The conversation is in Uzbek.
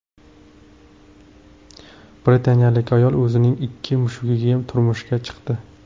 Britanliyalik ayol o‘zining ikki mushugiga turmushga chiqdi.